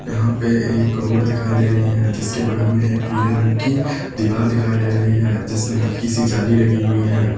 यहां पे एक रोड दिखाई दे रही है जिसके बगल में एक पीले रंग की दीवार दिखाई दे रही है जिसमें हल्की सी जाली लगी हुई है।